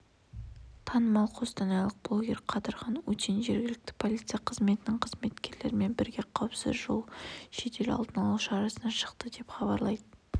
танымал қостанайлық блогер қадырхан утин жергілікті полиция қызметінің қызметкерлерімен бірге қауіпсіз жол жедел алдын алу шарасына шықты деп хабарлайды